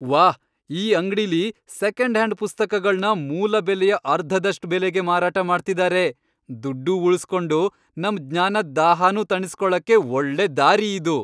ವಾಹ್! ಈ ಅಂಗ್ಡಿಲಿ ಸೆಕೆಂಡ್ ಹ್ಯಾಂಡ್ ಪುಸ್ತಕಗಳ್ನ ಮೂಲ ಬೆಲೆಯ ಅರ್ಧದಷ್ಟ್ ಬೆಲೆಗೆ ಮಾರಾಟ ಮಾಡ್ತಿದಾರೆ. ದುಡ್ಡೂ ಉಳ್ಸ್ಕೊಂಡು, ನಮ್ ಜ್ಞಾನದ್ ದಾಹನೂ ತಣಿಸ್ಕೊಳಕ್ಕೆ ಒಳ್ಳೆ ದಾರಿ ಇದು.